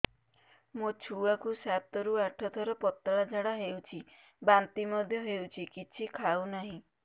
ମୋ ଛୁଆ କୁ ସାତ ରୁ ଆଠ ଥର ପତଳା ଝାଡା ହେଉଛି ବାନ୍ତି ମଧ୍ୟ୍ୟ ହେଉଛି କିଛି ଖାଉ ନାହିଁ